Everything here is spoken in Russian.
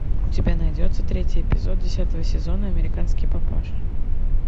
у тебя найдется третий эпизод десятого сезона американский папаша